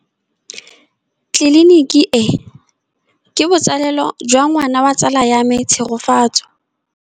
Tleliniki e, ke botsalêlô jwa ngwana wa tsala ya me Tshegofatso.